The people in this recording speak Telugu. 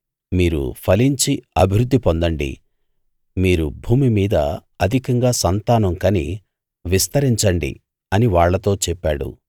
మీరు ఫలించి అభివృద్ధి పొందండి మీరు భూమి మీద అధికంగా సంతానం కని విస్తరించండి అని వాళ్ళతో చెప్పాడు